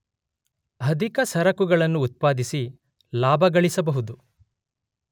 ಅಧಿಕ ಸರಕುಗಳನ್ನು ಉತ್ಪಾದಿಸಿ ಲಾಭಗಳಿಸಬಹುದು.